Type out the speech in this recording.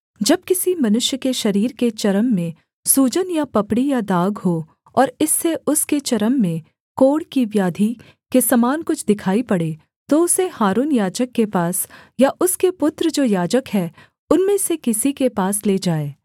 जब किसी मनुष्य के शरीर के चर्म में सूजन या पपड़ी या दाग हो और इससे उसके चर्म में कोढ़ की व्याधि के समान कुछ दिखाई पड़े तो उसे हारून याजक के पास या उसके पुत्र जो याजक हैं उनमें से किसी के पास ले जाएँ